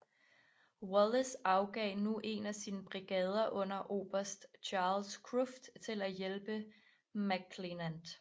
Wallace afgav nu en af sine brigader under oberst Charles Cruft til at hjælpe McClernand